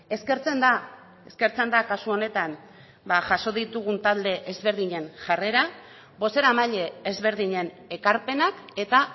eskertzen da eskertzen da kasu honetan jaso ditugun talde ezberdinen jarrera bozeramaile ezberdinen ekarpenak eta